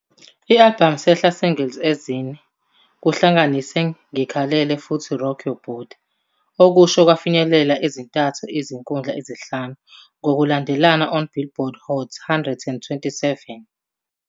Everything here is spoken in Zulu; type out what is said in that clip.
I-albhamu sehla singles ezine, kuhlanganise "ngikhalele" futhi "Rock Your Body", okusho kwafinyelela ezintathu izikhundla ezinhlanu ngokulandelana on Billboard Hot 100,27